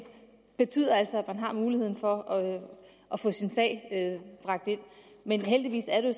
betyder altså at man har muligheden for at få sin sag bragt ind men heldigvis er det